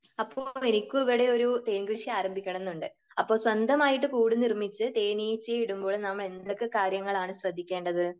അപ്പോൾ എനിക്കും ഇവിടെ ഒരു തേൻ കൃഷി ആരംഭിക്കണം എന്നുണ്ട്. അപ്പോൾ സ്വന്തമായിട്ട് കൂട് നിർമ്മിച്ച് തേനീച്ചയെ ഇടുമ്പോൾ നമ്മൾ എന്തൊക്കെ കാര്യങ്ങൾ ആണ് ശ്രദ്ധിക്കേണ്ടത്?